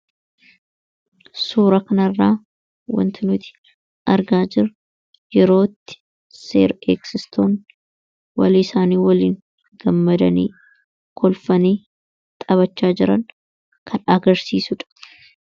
suura kanarraa wantinuti argaa jirru yerootti seer eegsistoonni walii isaanii waliin gammadanii kolfanii xabachaa jiran kan agarsiisuudha